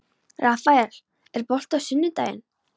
Rafael, er bolti á sunnudaginn?